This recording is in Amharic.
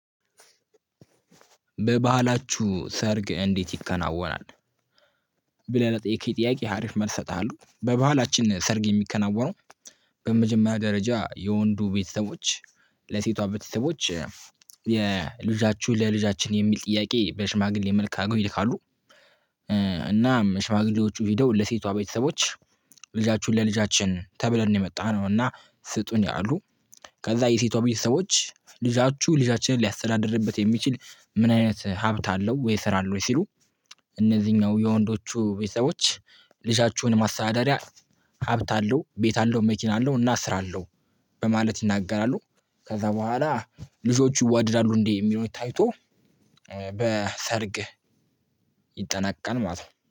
በባህላችሁ ሰርግ እንዴት ይከናወናል? ብለህ ለጠየቅከኝ ጥያቄ አሪፍ መልስ እሰጥሃለሁ። በባህላችን ሰርግ የሚከናወነው በመጀመሪያ ደረጃ የወንዱ ቤተሰቦች ለሴቷ ቤተሰቦች የልጃችሁ ለልጃችን የሚል ጥያቄ በሽማግሌ መልክ ይልካሉ እናም ሽማግሌዎቹ ሄደው ለሴቷ ቤተሰቦች ልጃችሁን ለልጃችን ተብለን ነው የመጣነው እና ስጡን ይላሉ ከዛ የሴቷ ቤተሰቦች ልጃችሁ ልጃችንን ሊያስተዳድርበት የሚችል ምን አይነት ሀብት አለው ወይ ስራ አለው ወይ ሲሉ እነዚህኛው የወንዶቹ ቤተሰቦች ልጃችሁን ማስተዳደሪያ ሀብት አለው ቤት አለው መኪና አለው እና ስራ አለው በማለት ይናገራሉ። ከዛ በኋላ ልጆቹ ይዋደዳሉ እንዴ የሚለው ታይቶ በሰርግ ይጠናቀቃል ማለት ነው።